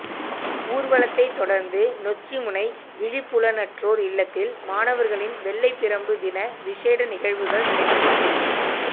ஊர்வலத்தை தொடர்ந்து நொச்சிமுனை விழிப்புலனற்றோர் இல்லத்தில் மாணவர்களின் வெள்ளைப்பிரம்பு தின விசேட நிகழ்வுகள் நடைபெற்றது